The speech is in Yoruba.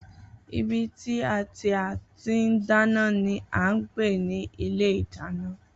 Ibi tí a tí a ti ń dáná ni à ń pè ní ilé ìdáná